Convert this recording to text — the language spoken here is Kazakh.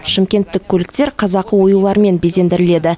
шымкенттік көліктер қазақы оюлармен безендіріледі